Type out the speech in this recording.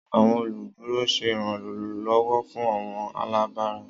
Àwọn oluduro ṣe iranlọwọ fun àwọn alabara.